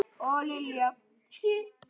Og Lilja!